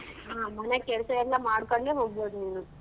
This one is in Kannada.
ಹ ಮನೆ ಕೆಲ್ಸ ಎಲ್ಲಾ ಮಾಡ್ಕೊಂಡೆ ಹೋಗ್ಬೋದು ನೀನು.